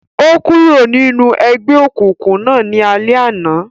O kúrò ninú egbeokunkun náà ní alẹ àna